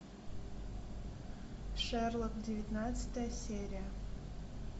шерлок девятнадцатая серия